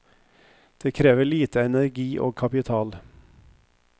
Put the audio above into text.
Det krever lite energi og kapital.